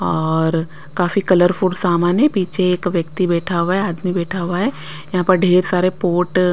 और काफी कलरफुल सामान है पीछे एक व्यक्ति बैठा हुआ है आदमी बैठा हुआ है यहाँ पर ढेर सारे पोट --